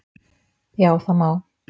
Já það má.